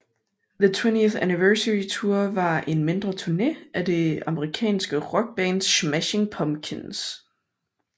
The 20th Anniversary Tour var en mindre turné af det amerikanske rockband Smashing Pumpkins